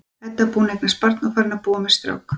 Edda búin að eignast barn og farin að búa með strák.